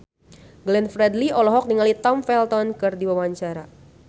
Glenn Fredly olohok ningali Tom Felton keur diwawancara